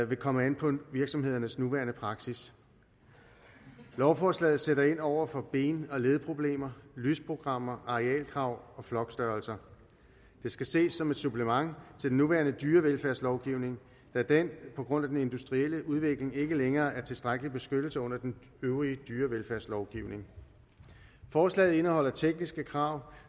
vil komme an på virksomhedernes nuværende praksis lovforslaget sætter ind over for ben og ledproblemer og lysprogrammer arealkrav og flokstørrelser det skal ses som et supplement til den nuværende dyrevelfærdslovgivning da den på grund af den industrielle udvikling ikke længere er tilstrækkelig beskyttelse under den øvrige dyrevelfærdslovgivning forslaget indeholder tekniske krav